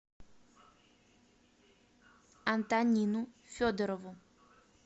антонину федорову